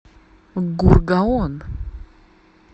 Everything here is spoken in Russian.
гургаон